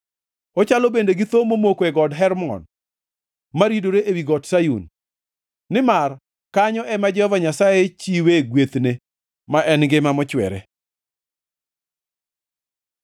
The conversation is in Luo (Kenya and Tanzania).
Ochalo bende gi thoo momoko e Got Hermon maridore ewi Got Sayun. Nimar kanyo ema Jehova Nyasaye chiwe gwethne, ma en ngima mochwere.